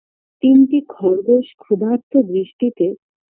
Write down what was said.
তিনটি খরগোশ ক্ষুদার্ত বৃষ্টিতে